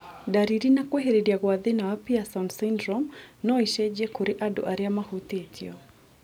Ndariri na kwĩhĩrĩria gwa thĩna wa Pierson syndrome no icenjie kũrĩ andũ arĩa mahutĩtio